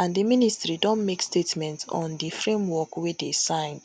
and di ministry don make statement on di framework wey dey signed